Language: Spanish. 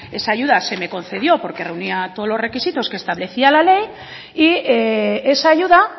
esa ayuda se me concedió porque reunía todos los requisitos que establecía la ley y esa ayuda